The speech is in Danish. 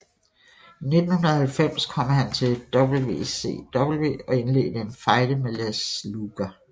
I 1990 kom han til WCW og indledte en fejde med Lex Luger